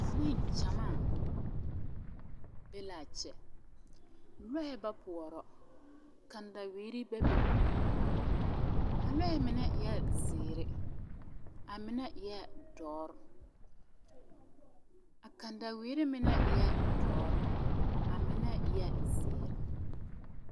Nengyamaa be l,a kyɛ lɔɛ ba poɔra kataweere bebe a lɔɛ mine eɛ zeere a mine eɛ dɔre a kataweere mine eɛ dɔre a mine eɛ zeere.